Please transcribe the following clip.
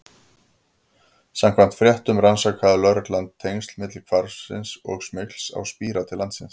Samkvæmt fréttum rannsakaði lögreglan tengsl milli hvarfsins og smygls á spíra til landsins.